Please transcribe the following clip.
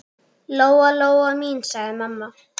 Lóa-Lóa mín, sagði mamma.